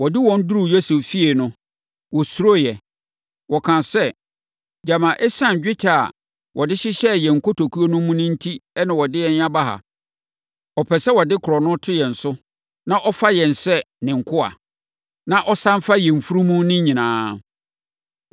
Ɔde wɔn duruu Yosef fie no, wɔsuroeɛ. Wɔkaa sɛ, “Gyama ɛsiane dwetɛ a wɔde hyehyɛɛ yɛn nkotokuo mu no enti na ɔde yɛn aba ha. Ɔpɛ sɛ ɔde korɔno to yɛn so, na ɔfa yɛn sɛ ne nkoa, na ɔsane fa yɛn mfunumu no nyinaa.”